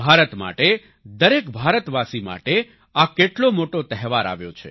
ભારત માટે દરેક ભારતવાસી માટે આ કેટલો મોટો તહેવાર આવ્યો છે